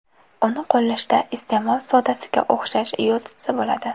Uni qo‘llashda iste’mol sodasiga o‘xshash yo‘l tutsa bo‘ladi.